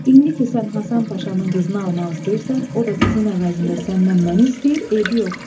İndi ki sən Həsən Paşanın qızını almaq istəyirsən, o da qızın əvəzində səndən məni istəyir, eybi yoxdur.